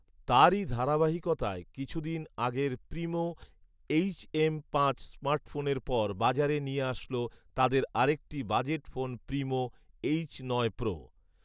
তারই ধারাবাহিকতায় কিছুদিন আগের প্রিমো এইচএম পাঁচ স্মার্টফোনের পর বাজারে নিয়ে আসল তাদের আরেকটি বাজেট ফোন প্রিমো এইচ নয় প্রো